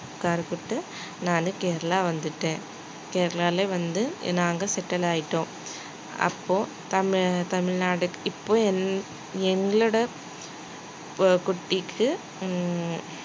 நானு கேரளா வந்துட்டேன் கேரளாலே வந்து நாங்க settle ஆயிட்டோம் அப்போ தமிழ்~ தமிழ்நாடு இப்போ எங்~ எங்களோட ப~ குட்டிக்கு ஹம்